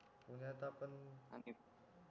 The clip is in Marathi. पुण्यात आपण